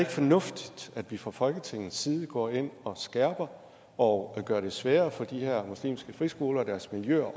fornuftigt at vi fra folketingets side går ind og skærper og gør det sværere for de her muslimske friskoler og deres miljøer